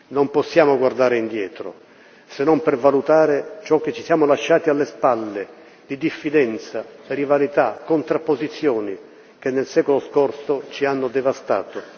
Non possiamo guardare indietro, se non per valutare ciò che ci siamo lasciati alle spalle di diffidenza, rivalità, contrapposizioni che, nel secolo scorso, ci hanno devastato.